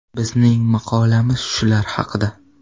Bizning maqolamiz shular haqida.